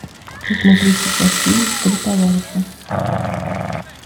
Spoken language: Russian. хочу смотреть сейчас фильм три товарища